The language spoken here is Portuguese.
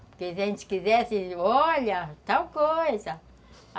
Porque se a gente quisesse, olha, tal coisa.